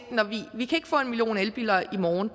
vi kan ikke få en million elbiler i morgen